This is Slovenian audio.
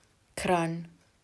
Kranj.